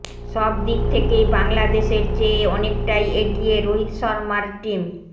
সব দিক থেকেই বাংলাদেশের চেয়ে অনেকটাই এগিয়ে রোহিত শর্মার টিম